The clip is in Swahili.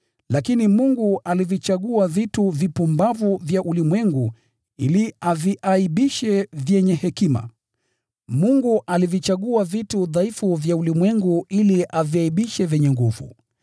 Lakini Mungu alivichagua vitu vipumbavu vya ulimwengu ili awaaibishe wenye hekima, Mungu alivichagua vitu dhaifu vya ulimwengu ili awaaibishe wenye nguvu.